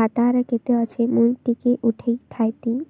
ଖାତାରେ କେତେ ଅଛି ମୁଇଁ ଟିକେ ଉଠେଇ ଥାଇତି